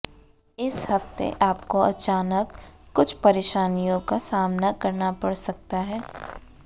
इस हफ्ते आपको अचानक कुछ परेशानियों का सामना करना पड़ सकता है